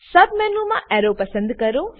સબમેનુમાં arrow પસંદ કરો